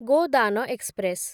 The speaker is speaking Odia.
ଗୋଦାନ ଏକ୍ସପ୍ରେସ୍